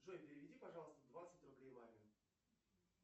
джой переведи пожалуйста двадцать рублей маме